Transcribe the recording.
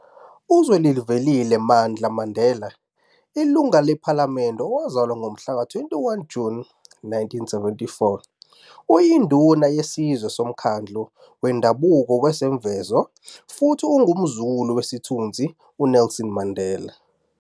UZwelivelile "Mandla" Mandela, iLungu lePhalamende, owazalwa ngomhlaka 21 Juni 1974, uyinduna yesizwe soMkhandlu Wendabuko waseMvezo futhi ungumzukulu wesithunzi uNelson Mandela.